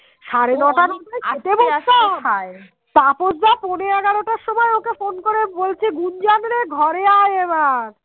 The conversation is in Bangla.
বলছে গুঞ্জনরে ঘরে আই এবার